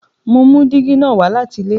Mo mú dígí na wá láti ilé